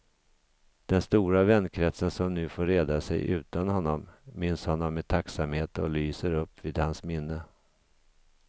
Den stora vänkretsen som nu får reda sig utan honom, minns honom med tacksamhet och lyser upp vid hans minne.